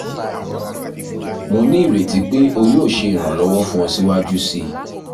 mo ni ireti pe o yoo ṣe iranlọwọ fun ọ siwaju sii